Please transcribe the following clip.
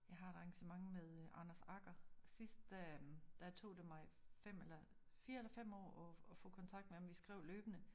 Jeg har et arrangement med øh Anders Agger. Sidst der øh der tog det mig 5 eller 4 eller 5 år at at få kontakt med ham vi skrev løbende